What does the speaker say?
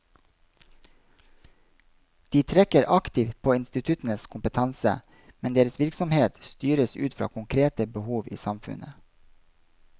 De trekker aktivt på instituttenes kompetanse, men deres virksomhet styres ut fra konkrete behov i samfunnet.